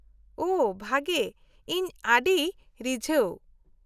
-ᱳᱦᱚ, ᱵᱷᱟᱜᱮ, ᱤᱧ ᱟᱹᱰᱤ ᱨᱤᱡᱷᱟᱹᱣ ᱾